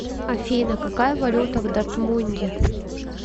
афина какая валюта в дортмунде